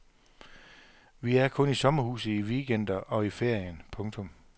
Vi er kun i sommerhuset i weekender og ferien. punktum